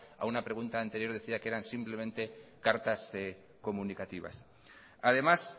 a una pregunta anterior decía que eran simplemente cartas comunicativas además